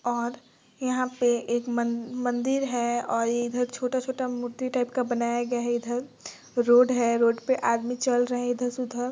और यहाँ पे एक मन मंदिर है और इधर छोटा छोटा मूर्ति टाइप का बनाया गया है इधर रोड है रोड पे आदमी चल रहै है इधर से उधर।